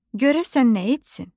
Görəsən nə etsin?